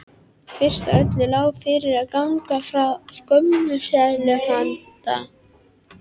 Fyrst af öllu lá fyrir að ganga frá skömmtunarseðlum handa